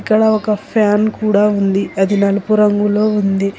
ఇక్కడ ఒక ఫ్యాన్ కూడా ఉంది అది నలుపు రంగులో ఉంది.